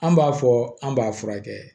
An b'a fɔ an b'a furakɛ